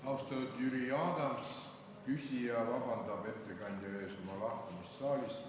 Austatud Jüri Adams, küsija palub ettekandjalt vabandust saalist lahkumise pärast.